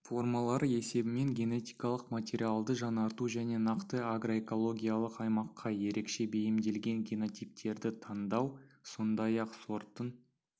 формалар есебімен генетикалық материалды жаңарту және нақты агроэкологиялық аймаққа ерекше бейімделген генотиптерді таңдау сондай-ақ сорттың